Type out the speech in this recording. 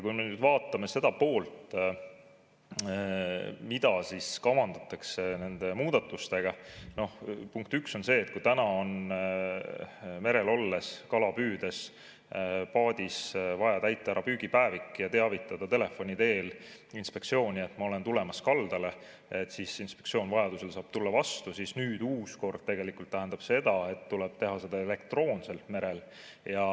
Kui me nüüd vaatame seda, mida kavandatakse nende muudatustega, siis punkt üks on see, et kui täna on merel olles ja kala püüdes vaja paadis täita ära püügipäevik ja teavitada telefoni teel inspektsiooni, et ma olen tulemas kaldale, inspektsioon saab vajaduse korral tulla vastu, siis uus kord tähendab seda, et tuleb teha seda merel elektroonselt.